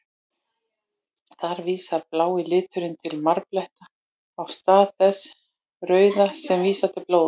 Þar vísar blái liturinn til marbletta, í stað þess rauða sem vísar til blóðs.